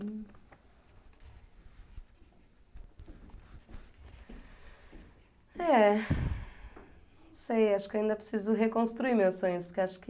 É... Não sei, acho que eu ainda preciso reconstruir meus sonhos, porque acho que...